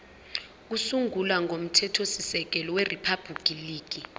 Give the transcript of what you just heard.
kokusungula komthethosisekelo weriphabhuliki